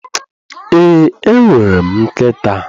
Ee, enwere m nkịta.